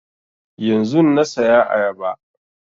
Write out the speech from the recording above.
Yanzun na saya ayaba